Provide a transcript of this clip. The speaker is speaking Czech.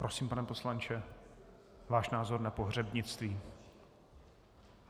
Prosím, pane poslanče, váš názor na pohřebnictví.